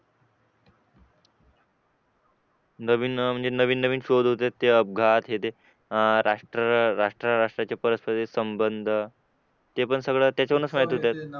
नवीन म्हणजे नवीन नवीन शोध होतायत ते अपघात अपघात केले ते अपघात राष्ट्र राष्ट्र राष्ट्राच्या परस्पर संबंध ते पण म्हणूनच माहिती होतं